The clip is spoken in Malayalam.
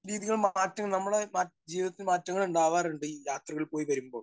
സ്പീക്കർ 1 ജീവിതം മാറ്റും നമ്മടെ മറ്റ് ജീവിതത്തിൽ മാറ്റങ്ങൾ ഉണ്ടാവാറുണ്ട് ഈ യാത്രകൾ പോയി വരുമ്പോൾ.